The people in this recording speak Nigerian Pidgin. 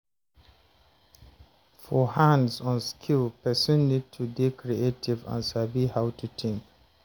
For hands-on skill person need to dey creative and sabi how to think